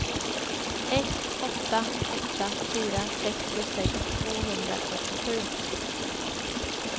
ett åtta åtta fyra sextiosex tvåhundrafyrtiosju